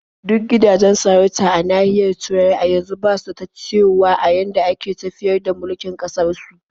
Duk gidajen sarauta a nahiyar Turai a yanzu ba su da ta cewa a yadda ake tafiyar da mulkin ƙasarsu.